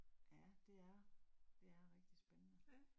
Ja, det er, det er rigtig spændende